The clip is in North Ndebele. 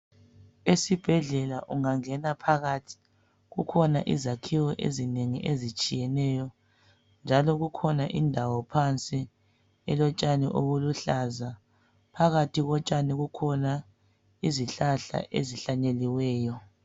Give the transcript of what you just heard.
ungangena phakathi kuhona izakhiyo ezitshiyeneyo njalo kukhona indawo phansi okutshani olulu hlaza phakathi kotshani kukhona izihlahla ezihlanyeliweyo.